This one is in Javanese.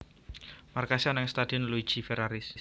Markase ana ing Stadion Luigi Ferraris